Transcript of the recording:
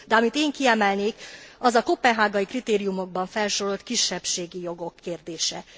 De amit én kiemelnék, az a koppenhágai kritériumokban felsorolt kisebbségi jogok kérdése.